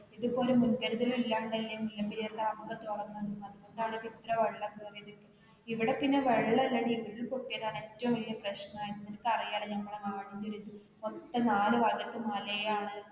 ഇത് ഇപ്പോൾ ഒരു മുന്കരുതല് ഇല്ലാണ്ടാല്ലേ മുല്ലപെരിയാർ dam കൾ തുറന്നത് അത്കൊണ്ട് അല്ലെ ഇത്ര വെള്ളം കയറിയത് ഇവിടെ പിന്നെ വെള്ളം ഇല്ലാടി ഉരുൾ പൊട്ടിയതാണ് ഏറ്റവും വലിയ പ്രശ്നം ആയത്. നിനക്ക് അറിയാല്ലോ നമ്മടേ നാടിൻറെ ഒരു ഇത് ഒറ്റ നാട് വന്നിട്ട് മലയാണ്.